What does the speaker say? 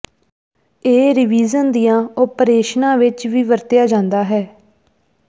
ਇਹ ਰੀਵਿਜ਼ਨ ਦੀਆਂ ਓਪਰੇਸ਼ਨਾਂ ਵਿੱਚ ਵੀ ਵਰਤਿਆ ਜਾਂਦਾ ਹੈ